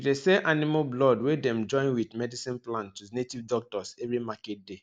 we dey sell animal blood wey dem join wit medicine plant to native doctors every market day